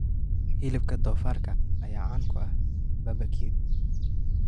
Hilibka doofaarka ayaa caan ku ah barbecue.